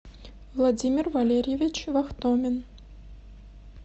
владимир валерьевич вахтомин